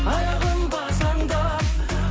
аяғың бас аңдап